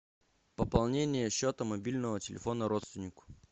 пополнение счета мобильного телефона родственнику